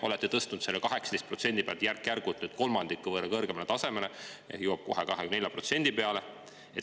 Olete tõstnud selle 18% pealt järk-järgult kolmandiku võrra kõrgemale tasemele, see jõuab kohe 24% peale.